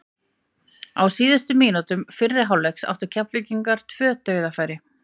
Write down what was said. Á síðustu mínútu fyrri hálfleiks áttu Keflvíkingar tvö dauðafæri.